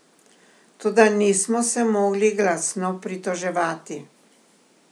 Toda nismo se mogli glasno pritoževati.